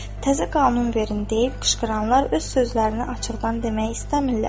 Təzə qanun verin deyib qışqıranlar öz sözlərini açıqdan demək istəmirlər.